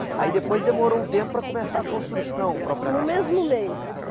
Aí depois demorou um tempo para começar a construção propriamente dita. No mesmo mês